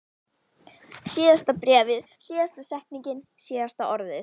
Síðasta bréfið, síðasta setningin, síðasta orðið.